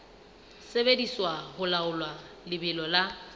sebediswa ho laola lebelo la